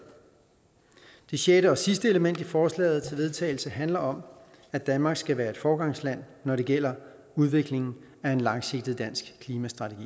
det sjette og sidste element i forslaget til vedtagelse handler om at danmark skal være et foregangsland når det gælder udviklingen af en langsigtet dansk klimastrategi